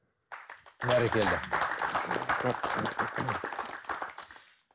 бәрекелді